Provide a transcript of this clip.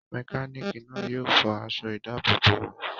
Mẹkánìkì náà yóò fọ aṣọ ìdábòbò rẹ̀